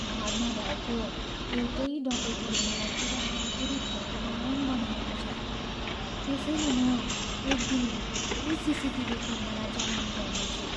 घरमा भएको एउटै डकैतीले मलाई पुरापुरी थर्कमान बनाएको छ। त्यसैले म एक दिनभित्रै सिसिटिभी क्यामेरा जडान गर्नेछु।